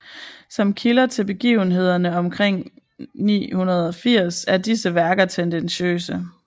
Som kilder til begivenhederne omkring 980 er disse værker tendentiøse